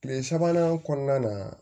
Kile sabanan kɔnɔna na